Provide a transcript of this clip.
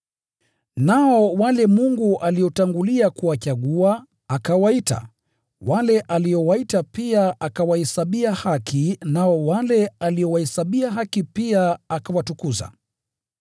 Nao wale Mungu aliotangulia kuwachagua, akawaita, wale aliowaita pia akawahesabia haki, nao wale aliowahesabia haki, pia akawatukuza.